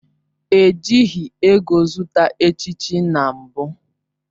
Ejighị ego zụta echichi na mbụ